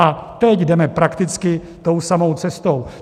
A teď jdeme prakticky tou samou cestou.